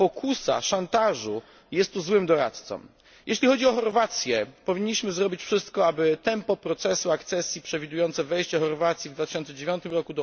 Pokusa szantażu jest złym doradcą. Jeśli chodzi o Chorwację, powinniśmy zrobić wszystko, aby tempo procesu akcesji przewidujące wejście Chorwacji do Unii w 2009 r.